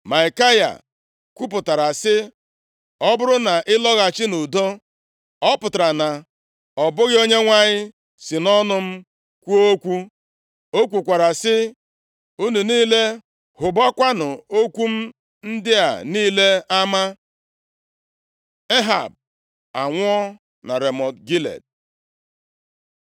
Maikaya kwupụtara sị, “Ọ bụrụ na ị lọghachi nʼudo, ọ pụtara na ọ bụghị Onyenwe anyị si nʼọnụ m kwuo okwu.” O kwukwara sị, “Unu niile hụbakwanụ okwu m ndị a niile ama!” Ehab anwụọ na Ramọt Gilead